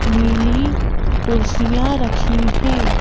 नीली कुर्सियां रखी हैं।